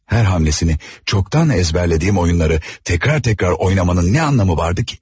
Hər hamləsini çoxdan əzbərlədiyim oyunları təkrar-təkrar oynamanın nə anlamı vardı ki?